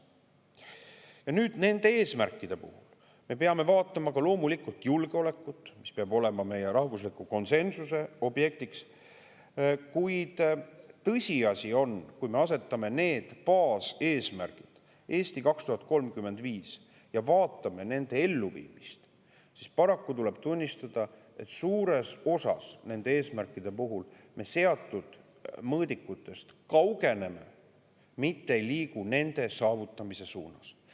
Ja nüüd, nende eesmärkide puhul me peame loomulikult vaatama ka julgeolekut, mis peab olema meie rahvusliku konsensuse objektiks, kuid tõsiasi on, et kui me vaatame nende "Eesti 2035" baaseesmärkide elluviimist, siis paraku tuleb tunnistada, et suures osas nende eesmärkide puhul me seatud mõõdikutest kaugeneme, mitte ei liigu nende saavutamise suunas.